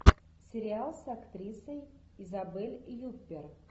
сериал с актрисой изабель юппер